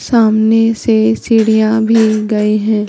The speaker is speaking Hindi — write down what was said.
सामने से सीढ़ियां भी गई हैं।